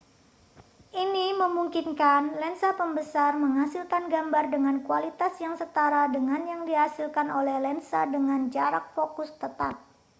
ini memungkinkan lensa pembesar menghasilkan gambar dengan kualitas yang setara dengan yang dihasilkan oleh lensa dengan jarak fokus tetap